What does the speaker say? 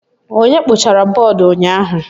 Onye kpochara bọọdụ ụnyaahụ?